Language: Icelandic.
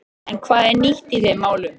En hvað er nýtt í þeim málum?